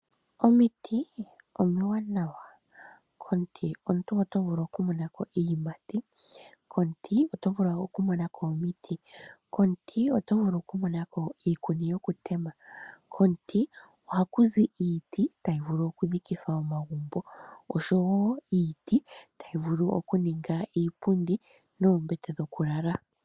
Omiti omiwanawa, komuti omuntu oto vulu okumona ko iiyimati. Komuti oto vulu oku monako iiti, komuti oto vulu okumona ko iikuni yoku tema, komuti ohaku zi iiti tayi vulu okudhikithwa omagumbo osho wo iiti tayi vulu oku ninga iipundi noombete dhokulala.